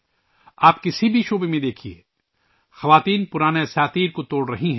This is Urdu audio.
آج کسی بھی طرف دیکھئے ، خواتین پرانی روایتوں کو توڑ رہی ہیں